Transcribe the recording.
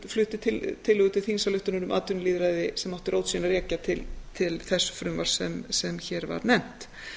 flutti tillögu til þingsályktunar um atvinnulýðræði sem átti rót sína að rekja til þess frumvarps sem hér var nefnt